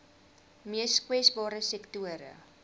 mees kwesbare sektore